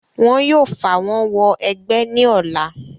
wọn yóò fàwọ́n wọ ẹgbẹ́ ní ọ̀la